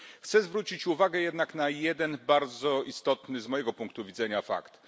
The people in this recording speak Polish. Chcę jednak zwrócić uwagę na jeden bardzo istotny, z mojego punktu widzenia, fakt.